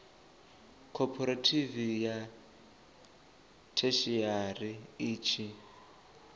khophorethivi ya theshiari i tshi